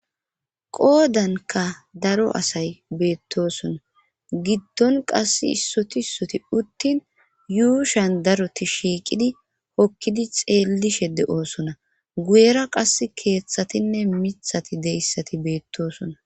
qoodanka daro asay beettosona giddon qass issoti ssoti uttin yuushan daroti shiiqidi hokkidi xeellishe de7oosona guyera qas keeththatinne mithati deyssati beettoosona